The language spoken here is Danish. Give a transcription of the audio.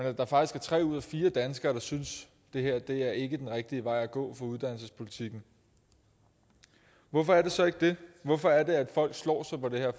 at der faktisk er tre ud af fire danskere der synes at det her ikke er den rigtige vej at gå for uddannelsespolitikken hvorfor er det så ikke det hvorfor er det at folk slår sig på det her